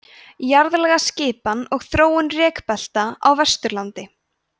jarðlagaskipan og þróun rekbelta á vesturlandi